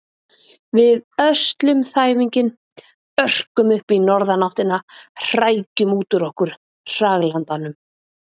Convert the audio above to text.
Við öslum þæfinginn, örkum upp í norðanáttina, hrækjum út úr okkur hraglandanum.